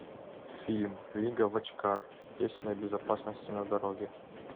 фильм лига вочкар песня о безопасности на дороге